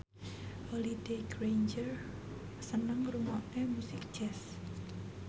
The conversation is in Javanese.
Holliday Grainger seneng ngrungokne musik jazz